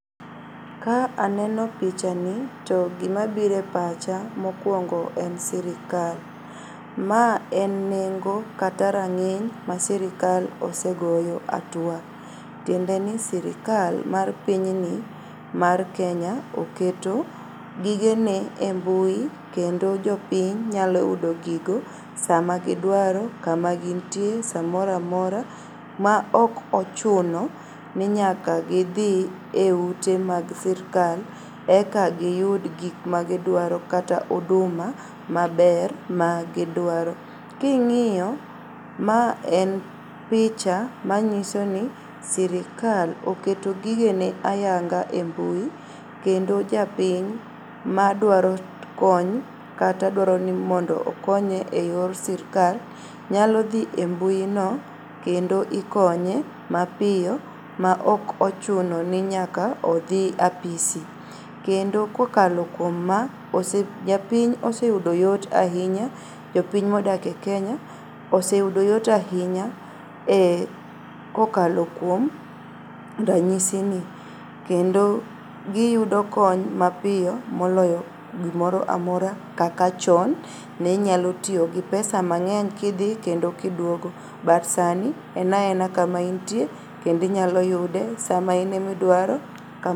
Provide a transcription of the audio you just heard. Ka aneno pichani to gimabire pacha mokuongo en sirikal. Ma en nengo kata rang'iny ma sirkal osegoyo hatua. Tiendeni sirkal mar pinyni mar Kenya oketo gigene e mbui kendo jopiny nyalo yudo gigo sama gidwaro, kama gintie samoramora ma okochuno ni nyaka gidhi eute mag sirkal eka giyud gikmagidwaro kata huduma maber magidwaro. King'iyo ma en pichamanyisoni sirikal oketo gigene ayanga e mbui kendo japiny madwaro kony kata dwaroni mondo okonye e yor sirkal nyalodhie mbuino kendo ikonye mapiyo maokochunoni nyaka odhi apisi kendo kokalo kuom maa ose, jopiny oseyudo yot ainya jopiny modake Kenya oseyudo yot ainya e kokalo kuom ranyisini kendo giyudo kony mapiyo moloyo gimoroamora kaka chon ninyalotiyogi pesa mang'eny kidhi kendo kiduogo but sani enaena kama intie kendo inyaloyude sama inemidwaro ka